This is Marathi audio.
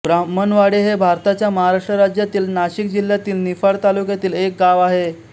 ब्राम्हणवाडे हे भारताच्या महाराष्ट्र राज्यातील नाशिक जिल्ह्यातील निफाड तालुक्यातील एक गाव आहे